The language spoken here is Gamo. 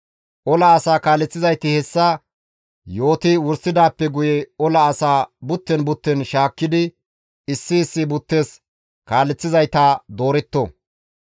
Ola asaa kaaleththizayti hessa yooti wursidaappe guye ola asaa butten butten shaakkidi issi issi buttes kaaleththizayta dooretto.